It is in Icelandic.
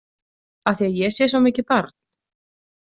Af því að ég sé svo mikið barn?